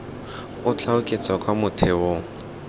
o tla oketsa kwa motheong